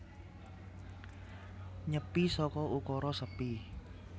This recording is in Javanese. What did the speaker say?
Nyepi saka ukara sepi